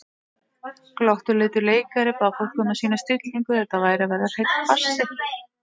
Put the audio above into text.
Glottuleitur leikari bað fólk um að sýna stillingu, þetta væri að verða hreinn farsi.